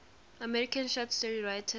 american short story writers